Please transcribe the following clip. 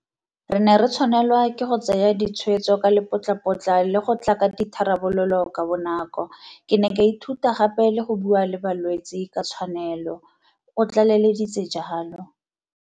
Re ne re tshwanelwa ke go tsaya ditshwetso ka lepotlapotla le go tla ka ditharabololo kabonako. Ke ne ka ithuta gape le go bua le balwetse ka tshwanelo, o tlaleleditse jalo.